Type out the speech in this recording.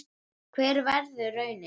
Hver verður raunin?